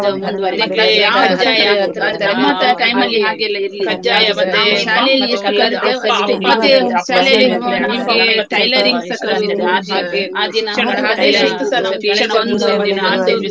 ಹತ್ತ್ನೇ class ತ~ ಹತ್ತ್~ ಹತ್ತನೇ ತರಗತಿ ತನಕ ಹಾಗೇ ಆ uniform ಮತ್ತೆ colour dress ಅಲ್ಲಿ ಹೋಗ್ಲಿಕ್ಕಿಲ್ಲ. ನಮ್ಗೆ uniform ಏ ಇತ್ತು, ಅದು ಹಾಗೆ ಅಂದ್ರೆ ಹಾ ~ ಅದೇ ಶಿಸ್ತುಸಾ ನಮ್ಗೆ ಈವಾಗ್ಲೂಸಾ ಬಂದಿದೆ ಅಂತ್ಹೇಳಿ.